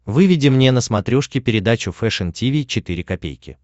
выведи мне на смотрешке передачу фэшн ти ви четыре ка